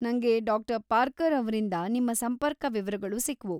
ನಂಗೆ ಡಾ. ಪಾರ್ಕರ್ ಅವ್ರಿಂದ ನಿಮ್ಮ ಸಂಪರ್ಕ ವಿವರಗಳು ಸಿಕ್ವು.